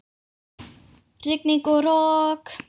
Rigning og rok!